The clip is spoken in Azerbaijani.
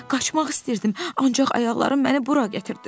Qaçmaq istəyirdim, ancaq ayaqlarım məni bura gətirdi.